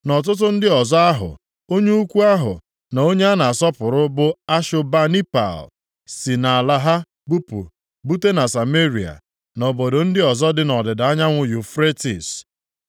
na ọtụtụ ndị ọzọ ahụ onye ukwu ahụ na onye a na-asọpụrụ bụ Ashobanipal + 4:10 Maọbụ, Osanapa, dịka e si sụgharịa ya nʼakwụkwọ nsọ ụfọdụ si nʼala ha bupụ bute na Sameria, na obodo ndị ọzọ dị nʼọdịda anyanwụ Yufretis.”